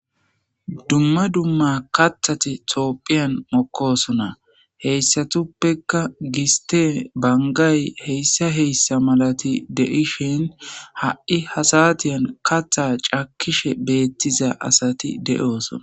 Dumma dumma kaththathi thoophphiyan mokkoosona;heyssathuppekka gisththee,banggay heyssa heyssa malathi de7ishin ha7i ha saathiyan kaththaa cakkishe beeththiza asathi de7oosona.